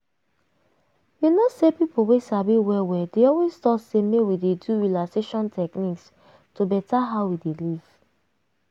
you know say people wey sabi well well dey always talk say make we dey do relaxation techniques to beta how we dey live.